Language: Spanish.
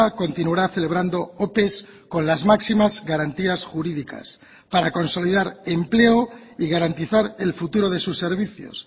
continuará celebrando ope con las máximas garantías jurídicas para consolidar empleo y garantizar el futuro de sus servicios